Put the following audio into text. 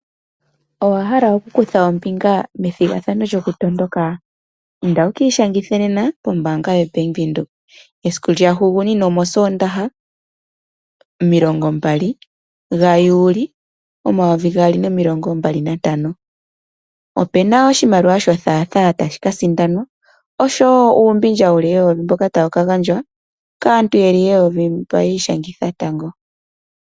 Owahala okukutha ombinga methigathano lyokumatuka? Inda wuki ishangithe nena pombaanga ya Venduka Esiku lya hugunina omosoondaha omilongombali gajuuli omayovi gaali nomilongombali nantano. Opena woo oshimaliwa sho thaatha tashi kaaindanwa oshowo uumbindja wuli eyovi mboka tawu kagandjwa kaantu yeli eyovi mba yi ishangitha tango.